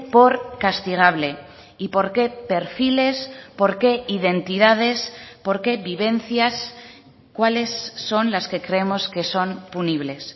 por castigable y por qué perfiles por qué identidades por qué vivencias cuáles son las que creemos que son punibles